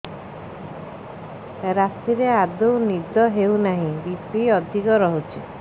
ରାତିରେ ଆଦୌ ନିଦ ହେଉ ନାହିଁ ବି.ପି ଅଧିକ ରହୁଛି